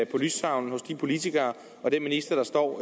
på lystavlen hos de politikere og den minister der står